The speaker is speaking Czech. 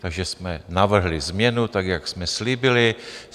Takže jsme navrhli změnu, tak jak jsme slíbili.